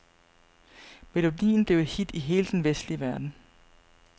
Melodien blev et hit i hele den vestlige verden.